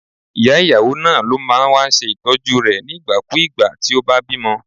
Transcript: Ìyá ìyàwó náà ló máa ń wá ṣe Ìtọ́jú rẹ̀ nígbà kú ìgbà tí ó bá bímọ.